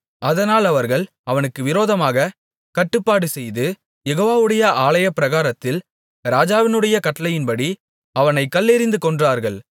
அதனால் அவர்கள் அவனுக்கு விரோதமாகக் கட்டுப்பாடுசெய்து யெகோவாவுடைய ஆலயப்பிராகாரத்தில் ராஜாவினுடைய கட்டளையின்படி அவனைக் கல்லெறிந்து கொன்றார்கள்